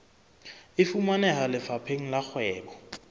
e fumaneha lefapheng la kgwebo